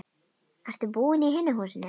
Ertu búinn í hinu húsinu?